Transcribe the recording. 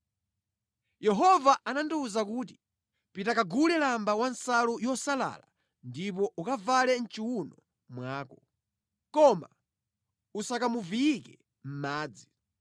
Yehova anandiwuza kuti, “Pita kagule lamba wansalu yosalala ndipo ukavale mʼchiwuno mwako, koma usakamuviyike mʼmadzi.”